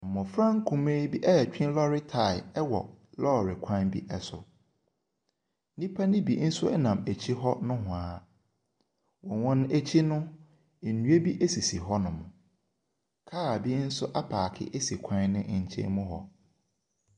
Mmɔfra nkumaa bi ɛretwe lɔri tyre ɛwɔ lɔri kwan bi ɛso. Nnipa no bi nso ɛnam akyi hɔ nohwaa. Wɔ wɔn akyi hɔ no, nnua bi sisi hɔ nom. Car bi nso apaake esi kwan no nkyɛn mu hɔ.